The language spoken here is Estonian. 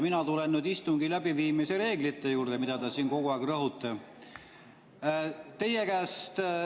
Mina tulen nüüd istungi läbiviimise reeglite juurde, millele te siin kogu aeg rõhute.